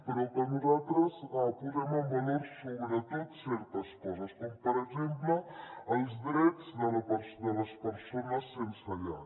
però nosaltres hi posem en valor sobretot certes coses com per exemple els drets de les persones sense llar